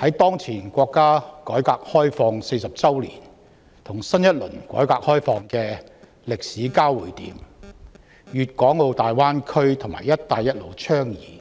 在當前國家改革開放40周年與推出新一輪改革開放政策的歷史交匯點，粵港澳大灣區及"一帶一路"倡議